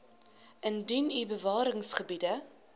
indien u bewaringsgebiede